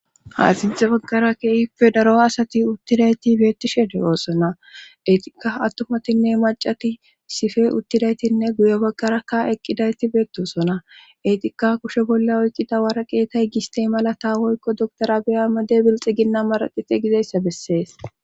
Haxinxe baggara keeife daro asati uttidayti beettishede oosona etika attumatinne macati sife uttidaytinne guye baggarakka eqqidayti beettosona etika kushe bolla oyqida wara qeetay gistey malata woykko doktorabeyama debilxi ginna maraxite gizeyssa bessees.